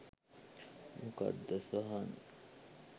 මොකක්ද සහන්